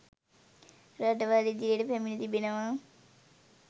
රටවල් ඉදිරියට පැමිණ තිබෙනවා